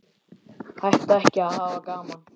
Hætta ekki að hafa gaman.